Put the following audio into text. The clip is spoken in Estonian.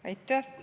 Aitäh!